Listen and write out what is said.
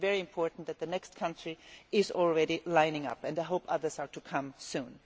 It is very important that the next country is already lining up, and I hope others will come soon.